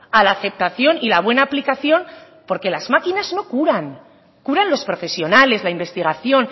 a la aceptación y la buena aplicación porque las máquinas no curan curan los profesionales la investigación